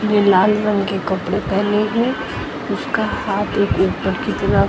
जो लाल रंग के कपड़े पेहने हैं उसका हाथ एक उपर की तरफ--